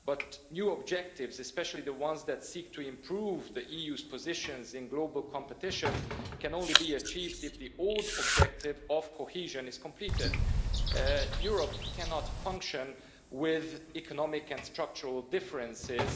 However, new objectives, especially the ones that seek to improve the EU's positions in global competition, can only be achieved if the old objective of cohesion is completed. Europe cannot function with economic and structural differences.